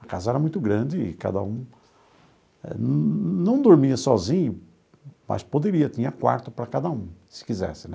A casa era muito grande e cada um não dormia sozinho, mas poderia, tinha quarto para cada um, se quisesse né.